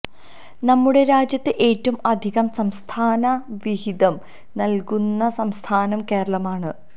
നമ്മുടെരാജ്യത്ത് ഏറ്റവും അധികം സംസ്ഥാന വിഹിതം നൽകുന്ന സംസ്ഥാനം കേരളം ആണ്